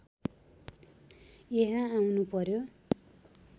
यहाँ आउनु पर्‍यो